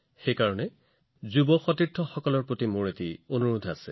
ইয়াৰ বাবে মোৰ যুৱ সহকৰ্মীসকলৰ বাবে মোৰ এটা পৰামৰ্শ আছে